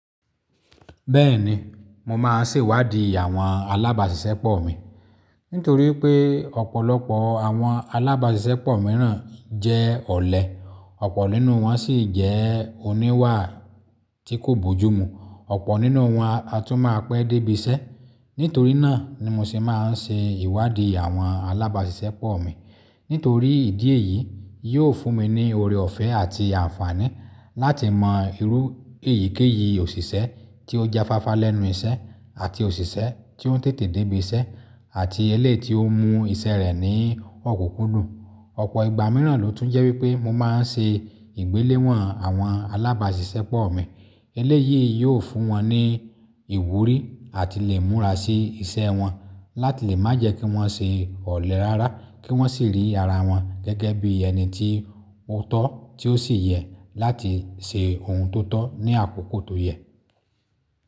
Bẹ́ẹ̀ni, mo máa ṣèwádìí àwọn alábàáṣiṣẹ́pọ̀ mi. Nítorí pé ọ̀pọ̀lọpọ̀ àwọn alábàáṣiṣẹ́pọ̀ mìíràn jẹ́ ọ̀lẹ, ọ̀pọ̀ nínú wọn sì jẹ́ oníwà tí kò bójú mu, ọ̀pọ̀ nínú wọn a tún máa pẹ́ dé ibi iṣẹ́. Nítorí náà ni mo ṣe máa ń ṣe ìwádìí àwọn alábàáṣiṣẹ́pọ̀ mi. Nítorí ìdí èyí yóò fún mi ní ọrẹ ọ̀fẹ́ àti àǹfààní láti mọ irú èyíkéyìí òṣìṣẹ́ tí ó jáfáfá lẹ́nu iṣẹ́, àti òṣìṣẹ́ tí ó tètè dé ibi iṣẹ́ àti eléyi tí ó mú iṣẹ́ rẹ̀ ní ọ̀kùnkúndùn. Ọ̀pọ̀ ìgbà mìíràn ló tún jẹ́ wípé mo máa ń ṣe ìgbéléwọ̀n àwọn alábàáṣiṣẹ́pọ̀ mi. Eléyìí yóò fún wọn ní ìwúrí àti lè múra sí iṣẹ́ wọn láti lè má jẹ́ kí wọ́n ṣe ọ̀lẹ rárá, kí wọ́n sì rí ara wọn gẹ́gẹ́ bí ẹni tí ó tọ́ tí ó sì yẹ láti ṣe ohun tó tọ́ ní àkókò tó yẹ.